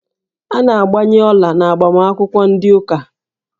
A na-agbanye ọla n'agbamakwụkwọ ndị ụka